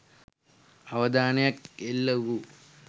අවධානයක් එල්ල වූ